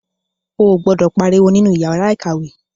O gbọdọ pariwo nínú yàrá ìkàwé.